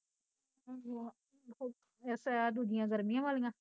ਆਹੋ ਆਹ, ਏਸ ਦੂਜੀਆਂ ਗਰਮੀਆ ਵਾਲੀਆਂ